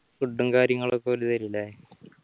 food ഉം കാര്യങ്ങളൊക്കെ ഓര് തെരൂലേ